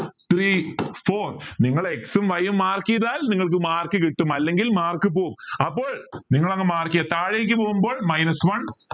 three four നിങ്ങൾ X ഉം Y ഉ mark ചെയ്താൽ നിങ്ങൾക്ക് mark കിട്ടും അല്ലെങ്കിൽ mark പോവും അപ്പോൾ നിങ്ങൾ ഒന്ന് mark ചെയ്യാ താഴേക്ക് പോകുമ്പോൾ minus one